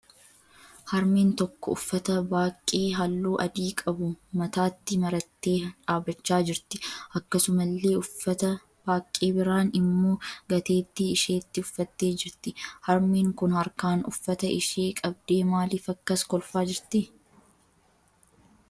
Harmeen tokko uffata baaqqee halluu adii qabu mataatti marattee dhaabbachaa jirti. Akkasumallee uffata baaqqee biraan immoo gateettii isheetti uffattee jirti. Harmeen kun harkaan uffata ishee qabdee maaliif akkas kolfaa jirti?